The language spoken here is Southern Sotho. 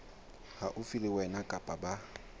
haufi le wena kapa ba